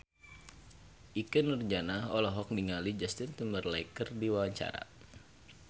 Ikke Nurjanah olohok ningali Justin Timberlake keur diwawancara